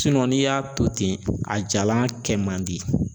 n'i y'a to ten a jalan kɛ man di